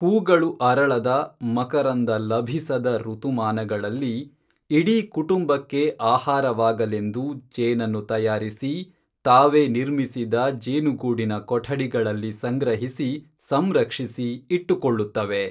ಹೂಗಳು ಅರಳದ ಮಕರಂದ ಲಭಿಸದ ಋತುಮಾನಗಳಲ್ಲಿ ಇಡೀ ಕುಟುಂಬಕ್ಕೆ ಆಹಾರವಾಗಲೆಂದು ಜೇನನ್ನು ತಯಾರಿಸಿ, ತಾವೇ ನಿರ್ಮಿಸಿದ ಜೇನುಗೂಡಿನ ಕೊಠಡಿಗಳಲ್ಲಿ ಸಂಗ್ರಹಿಸಿ, ಸಂರಕ್ಷಿಸಿ ಇಟ್ಟುಕೊಳ್ಳುತ್ತವೆ.